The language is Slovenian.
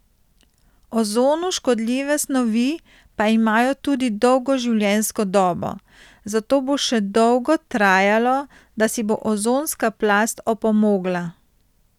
Ozonu škodljive snovi pa imajo tudi dolgo življenjsko dobo, zato bo še dolgo trajalo, da si bo ozonska plast opomogla.